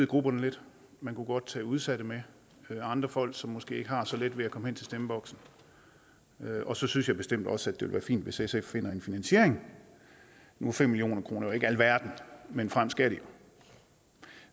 grupperne lidt man kunne godt tage udsatte med og andre folk som måske ikke har så let ved at komme hen til stemmeboksen og så synes jeg bestemt også at det vil være fint hvis sf finder en finansiering nu er fem million kroner jo ikke alverden men frem skal de jo